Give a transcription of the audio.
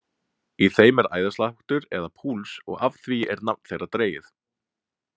Í þeim er æðasláttur eða púls og af því er nafn þeirra dregið.